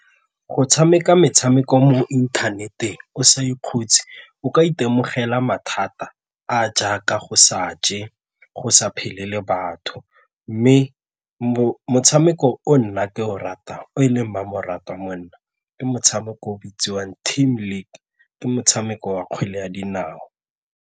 Go tshameka metshameko mo inthaneteng o sa ikhutse o ka itemogela mathata a a jaaka go sa je, go sa phele le batho mme motshameko o nna ke o ratang o e leng mmamoratwa mo nna ke motshameko o bitsiwang team league ke motshameko wa kgwele ya dinao.